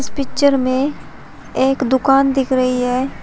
Picture में एक दुकान दिख रही है।